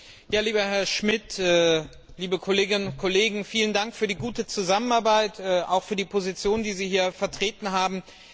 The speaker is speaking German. Frau Präsidentin, lieber Herr Schmidt, liebe Kolleginnen und Kollegen! Vielen Dank für die gute Zusammenarbeit und auch für die Position, die Sie hier vertreten haben.